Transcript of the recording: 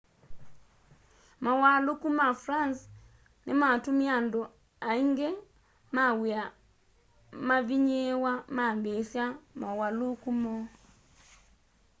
mauwaluku ma france nimatumie andu aningi ma wia mavinyiiwe mambiisya mauwaluku moo